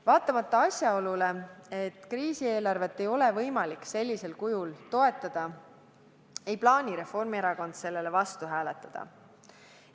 Vaatamata asjaolule, et kriisieelarvet ei ole võimalik sellisel kujul toetada, ei plaani Reformierakond sellele vastu hääletada.